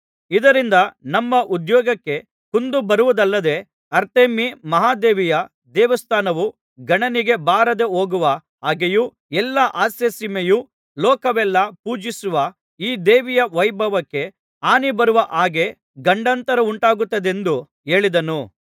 ಇದರಿಂದ ನಮ್ಮ ಉದ್ಯೋಗಕ್ಕೆ ಕುಂದು ಬರುವುದಲ್ಲದೆ ಅರ್ತೆಮೀ ಮಹಾದೇವಿಯ ದೇವಸ್ಥಾನವು ಗಣನೆಗೆ ಬಾರದೆಹೋಗುವ ಹಾಗೆಯೂ ಎಲ್ಲಾ ಆಸ್ಯಸೀಮೆಯೂ ಲೋಕವೆಲ್ಲಾ ಪೂಜಿಸುವ ಈ ದೇವಿಯ ವೈಭವಕ್ಕೆ ಹಾನಿಬರುವ ಹಾಗೆ ಗಂಡಾಂತರವುಂಟಾಗುತ್ತದೆಂದು ಹೇಳಿದನು